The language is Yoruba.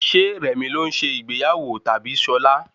Ṣé rẹ̀mi ló ń se ìgbéyàwó tabi Ṣọla?